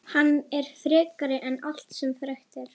Hann er frekari en allt sem frekt er.